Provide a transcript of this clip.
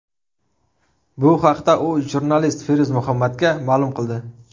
Bu haqda u jurnalist Feruz Muhammadga ma’lum qildi.